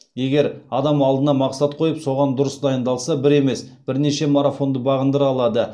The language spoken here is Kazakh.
егер адам алдына мақсат қойып соған дұрыс дайындалса бір емес бірнеше марафонды бағындыра алады